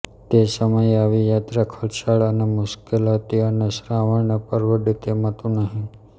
તે સમયે આવી યાત્રા ખર્ચાળ અને મુશ્કેલ હતી અને શ્રવણને પરવડે તેમ હતું નહી